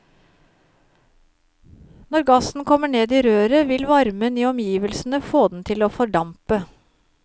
Når gassen kommer ned i røret vil varmen i omgivelsene få den til å fordampe.